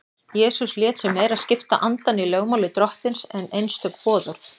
Jesús lét sig meira skipta andann í lögmáli Drottins en einstök boðorð.